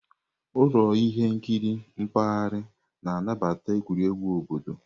Ụlọ ihe nkiri mpaghara na-anabata egwuregwu obodo.